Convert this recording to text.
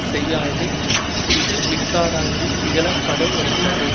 செய்வாராயின் இது மிக்காராயினும் இகழ படுவ ரென்றது